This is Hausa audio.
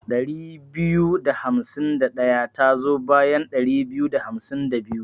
Ɗari biyu da hamsin da ɗaya tazo bayan ɗari biyu da hamsin da biyu.